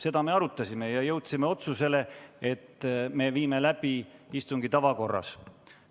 Seda me arutasime ja jõudsime otsusele, et viime läbi istungi tavakorras.